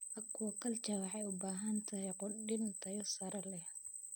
Aquaculture waxay u baahan tahay quudin tayo sare leh.